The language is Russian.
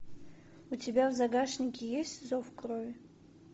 у тебя в загашнике есть зов крови